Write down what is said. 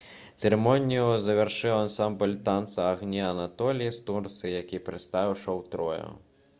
цырымонію завяршыў ансамбль танца «агні анатоліі» з турцыі які прадставіў шоу «троя»